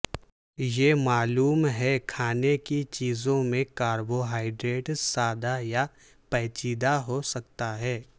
یہ معلوم ہے کھانے کی چیزوں میں کاربوہائیڈریٹ سادہ یا پیچیدہ ہو سکتا ہے